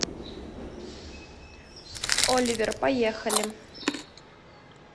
оливер поехали